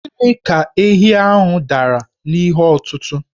Gịnị ka ehi dara n'ihe ọtụtụ̀?